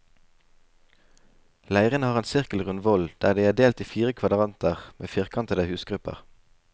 Leirene har en sirkelrund voll, de er delt i fire kvadranter med firkantete husgrupper.